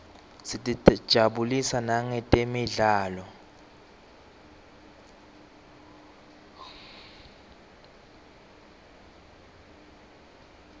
sitijabulisa nangetemidlalo